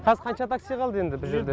қаз қанша такси қалды енді бұ жерде